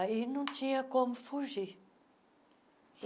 Aí não tinha como fugir.